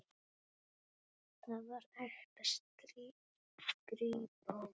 Þar var ekta skrípó.